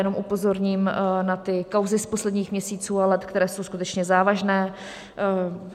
Jenom upozorním na ty kauzy z posledních měsíců a let, které jsou skutečně závažné.